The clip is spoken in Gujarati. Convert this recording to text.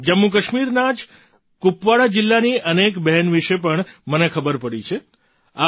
જમ્મુકાશ્મીરના જ કુપવાડા જિલ્લાની અનેક બહેન વિશે પણ મને ખબર પડી છે